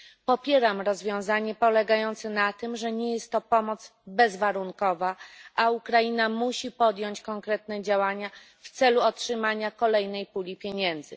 Popieram rozwiązanie polegające na tym, że nie jest to pomoc bezwarunkowa, a Ukraina musi podjąć konkretne działania w celu otrzymania kolejnej puli pieniędzy.